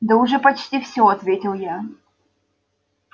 да уже почти всё ответил я